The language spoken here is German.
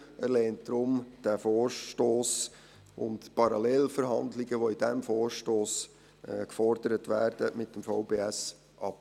Er lehnt diesen Vorstoss und Parallelverhandlungen mit dem VBS, die in diesem Vorstoss gefordert werden, deshalb ab.